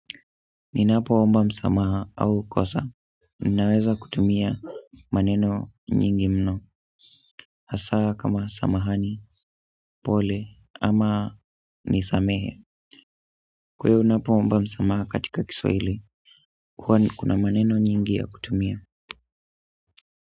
Ninapoomba msamaha au kosa, ninaweza kutumia maneno nyingi mno, hasa kama samahani, pole, ama nisamehe. Kwahivo unapoomba msamaha katika Kiswahili, kuna maneno nyingi ya kutumia.